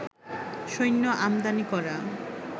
সৈন্য আমদানি করা